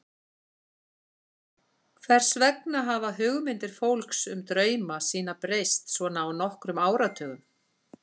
Hvers vegna hafa hugmyndir fólks um drauma sína breyst svona á nokkrum áratugum?